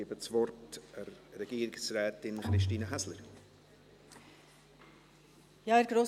Ich gebe das Wort Regierungsrätin Christine Häsler.